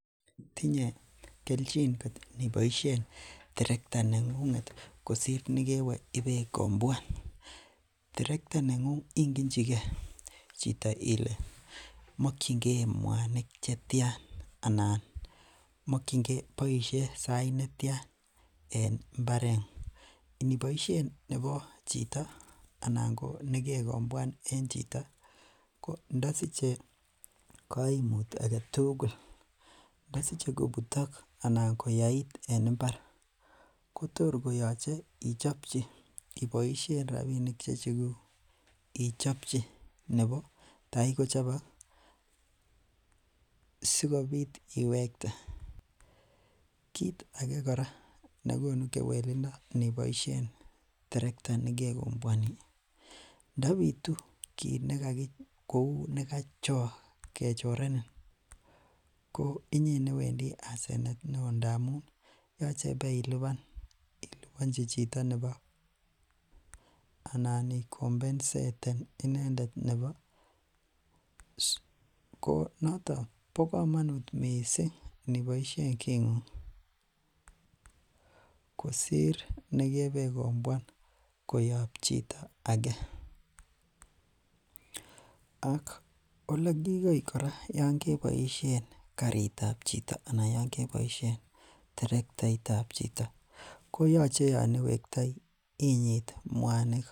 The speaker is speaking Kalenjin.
Tinye kelchin kot indiboishen terekta nengunget kosir nekwe ibeikomwan, terekta nengung ingenchike chito ilee mokyinge mwanik chetian anan boishen sait netian en mbaret, indiboishen nebo chito anan ko nekekombwan en chito ko ndosiche koimut aketukul, ndosiche kobutok alaa koyait en mbar kotor koyoche ichobchi iboishen rabinik chechekuk ichobchi nebo taii kochobok sikobit iwekte, kiit akee nekonu kewelindo ndiboishen terekta nekekombwan ndobitun kouu kiit nekakichorenin ko inyee newendi asenet neo ndamun yoche ibeiliban ilibonchi chito nebo anan ikombenseten inendet nebo, ko noton bokomonut mising indiboishen kingung kosir nekebekombuan koyob chito akee, ak olekikoi kora yoon keboishen kariitab chito anan yoon keboishen terektaitab chito koyoche yoon iwektoi inyit mwanik.